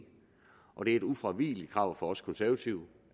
og det er et ufravigeligt krav fra os konservative